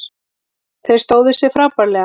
Þeir stóðu sig frábærlega